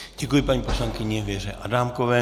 Děkuji paní poslankyni Věře Adámkové.